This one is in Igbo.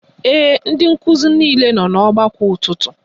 Ee, ndị nkụzi niile nọ n'ọgbakọ ụtụtụ